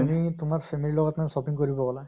তুমি তোমাৰ family লগত নহয় shopping কৰিব গলে